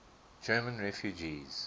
german refugees